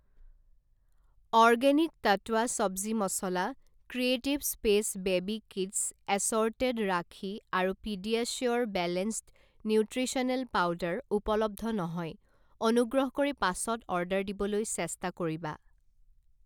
Organic টট্টৱা চব্জি মছলা, creative space baby kids assorted rakhi আৰু পিডিয়াছিউৰ বেলেন্সড নিউট্ৰিশ্যনেল পাউদাৰ উপলব্ধ নহয়, অনুগ্ৰহ কৰি পাছত অৰ্ডাৰ দিবলৈ চেষ্টা কৰিবা।